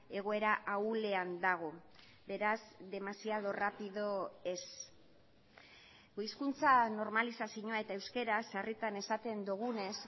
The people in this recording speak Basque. egoera ahulean dago beraz demasiado rápido ez gu hizkuntzan normalizazioa eta euskaraz sarritan esaten dugunez